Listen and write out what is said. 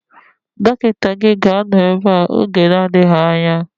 Dọkịta gị ga-anọ ebea oge na-adịghị anya